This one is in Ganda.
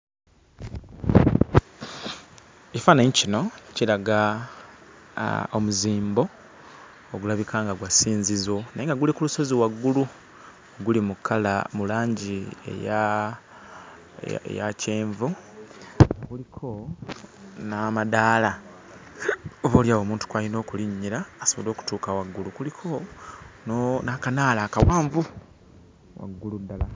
Ekifaananyi kino kiraga omuzimbo ogulabika nga gwa ssinzizo naye nga guli ku lusozi waggulu. Guli mu kkala mu langi eya eya kyenvu, guliko n'amadaala oboolyawo omuntu kw'alina okulinnyira asobole okutuuka waggulu. Kuliko n'akanaala akawanvu waggulu ddala.